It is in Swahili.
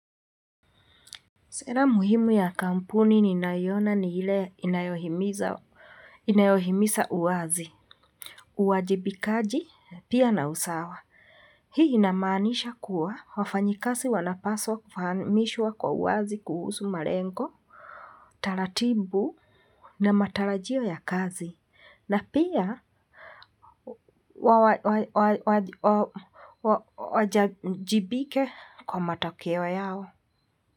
Sera muhimu ya kampuni ninayoona ni ile inayohimiza uwazi, uwajibikaji pia na usawa. Hii inamaanisha kuwa wafanyikazi wanapaswa kufahamishwa kwa uwazi kuhusu malengo, taratibu na matarajio ya kazi. Na pia wawajibike kwa matokeo yao.